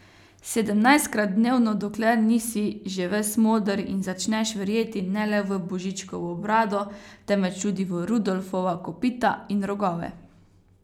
Sedemnajstkrat dnevno, dokler nisi že ves moder in začneš verjeti ne le v Božičkovo brado, temveč tudi v Rudolfova kopita in rogove.